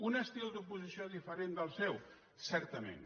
un estil d’oposició diferent del seu certament